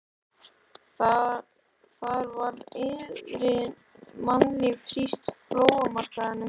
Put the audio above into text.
Þar var iðandi mannlíf, ekki síst á flóamarkaðnum.